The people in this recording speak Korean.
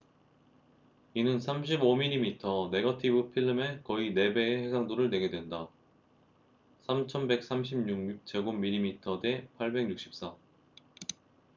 이는 35mm 네거티브 필름의 거의 4배의 해상도를 내게 된다3136 mm2 대 864